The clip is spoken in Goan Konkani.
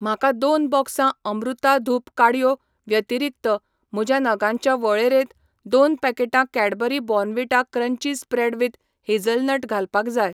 म्हाका दोन बॉक्सां अमृता धूप काडयो व्यतिरीक्त म्हज्या नगांच्या वळेरेंत दोन पॅकेटां Cadbury Bournvita crunchy spread with hazelnut घालपाक जाय.